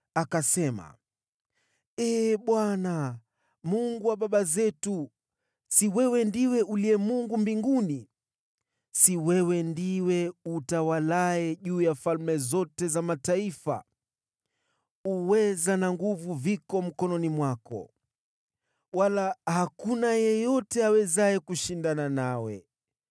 akasema: “Ee Bwana , Mungu wa baba zetu, si wewe ndiwe uliye Mungu mbinguni? Si wewe ndiwe utawalaye juu ya falme zote za mataifa? Uweza na nguvu viko mkononi mwako, wala hakuna yeyote awezaye kushindana nawe.